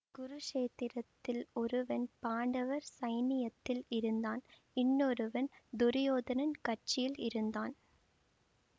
குருக்ஷேத்திரத்தில் ஒருவன் பாண்டவர் சைன்னியத்தில் இருந்தான் இன்னொருவன் துரியோதனன் கட்சியில் இருந்தான்